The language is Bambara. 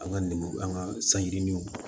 An ka lemuru an ka sanjiw ma